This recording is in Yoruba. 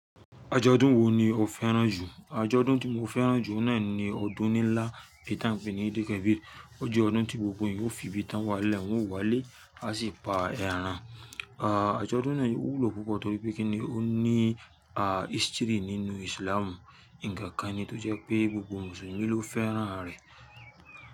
Àjọ̀dún wo ni o fẹ́ràn jù? Àjọ̀dún tí mo fẹ́ràn jù ọ̀wn náà ni ọdún ni lá èyí tí a ń pè ní ìdìl kábìr. Ó jẹ́ ọdún tí gbogbo ènìyàn yóò fi bí tàn wá lẹ́ wọ̀n wálé, a sì pa ẹran. Ọdún ná ó wúlò púpọ̀ torí pé kíni ó ní history nínú islam ǹkankan ni tó jẹ́ pé gbogbo Mùsùlùmí ló fẹ́ràn rẹ̀.